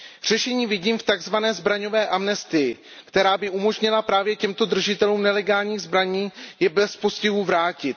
Řešení vidím v takzvané zbraňové amnestii, která by umožnila právě těmto držitelům nelegálních zbraní je bez postihu vrátit.